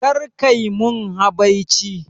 Kar kai mun habaici